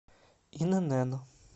инн